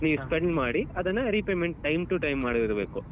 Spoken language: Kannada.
ನೀವ್ spend ಮಾಡಿ ಅದನ್ನ repayment time to time ಮಾಡಿರ್ಬೇಕು.